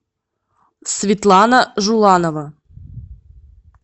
светлана жуланова